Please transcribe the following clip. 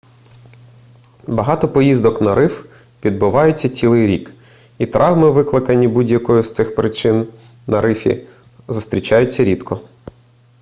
багато поїздок на риф відбуваються цілий рік і травми викликані будь-якою з цих причин на рифі зустрічаються рідко